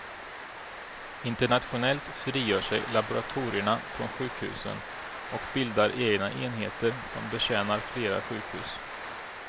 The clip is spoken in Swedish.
Internationellt frigör sig laboratorierna från sjukhusen och bildar egna enheter som betjänar flera sjukhus.